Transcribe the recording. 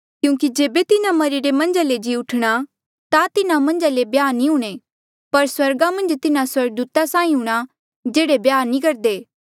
क्यूंकि जेबे तिन्हा मरिरे मन्झा ले जी ऊठणा ता तिन्हा मन्झ ब्याह सादी नी हूणीं पर स्वर्गा मन्झ तिन्हा स्वर्गदूता साहीं हूंणां